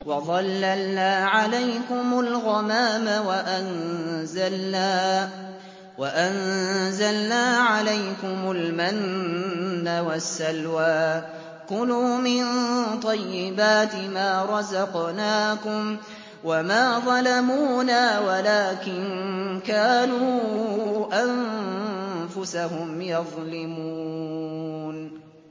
وَظَلَّلْنَا عَلَيْكُمُ الْغَمَامَ وَأَنزَلْنَا عَلَيْكُمُ الْمَنَّ وَالسَّلْوَىٰ ۖ كُلُوا مِن طَيِّبَاتِ مَا رَزَقْنَاكُمْ ۖ وَمَا ظَلَمُونَا وَلَٰكِن كَانُوا أَنفُسَهُمْ يَظْلِمُونَ